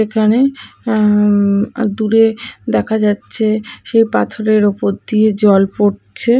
এখানে অ্যা উম দূরে দেখা যাচ্ছে সেই পাথরের ওপর দিয়ে জল পড়ছে।